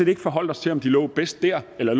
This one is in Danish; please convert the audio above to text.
ikke forholdt os til om de lå bedst der eller